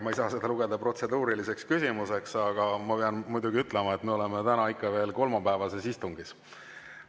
Ma ei saa seda lugeda protseduuriliseks küsimuseks, aga ma pean muidugi ütlema, et me oleme ikka veel kolmapäevases istungis.